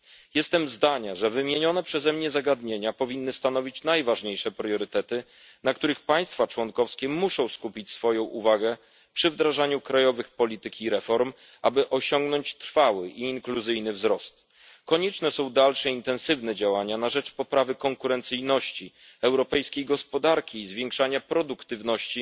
Jestem zdania, że wymienione przeze mnie zagadnienia powinny stanowić najważniejsze priorytety, na których państwa członkowskie muszą skupić swoją uwagę przy wdrażaniu krajowych polityk i reform, aby osiągnąć trwały wzrost sprzyjający włączeniu społecznemu. Konieczne są dalsze intensywne działania na rzecz poprawy konkurencyjności gospodarki europejskiej i zwiększania produktywności